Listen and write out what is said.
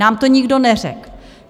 Nám to nikdo neřekl.